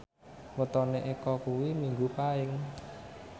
wetone Eko kuwi Minggu Paing